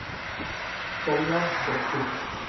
Sonja Bekken